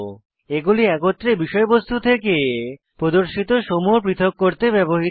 এগুলি একত্রে বিষয়বস্তু থেকে প্রদর্শিত সমূহ পৃথক করতে ব্যবহৃত হয়